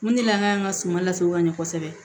Mun de la an ka suma lasago ka ɲɛ kosɛbɛ